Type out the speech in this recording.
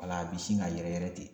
Wala a bi sin ka yɛrɛ yɛrɛ ten.